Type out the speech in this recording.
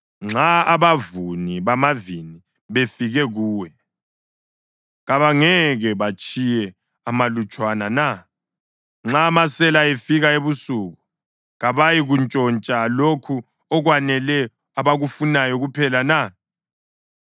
Nxa abavuni bamavini befike kuwe, kabangeke batshiye amalutshwana na? Nxa amasela efika ebusuku kabayikuntshontsha lokho okwanele abakufunayo kuphela na?